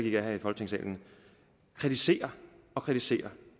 ikke her i folketingssalen kritisere kritisere